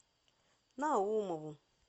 наумову